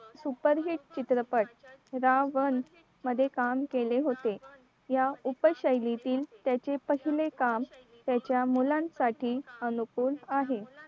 superhit चित्रपट रावण मध्ये काम केले होते या उपशैलीतील त्याची पहिले काम त्याच्या मुलांसाठी अनुकूल आहे